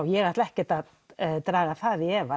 ég ætla ekkert að draga það í efa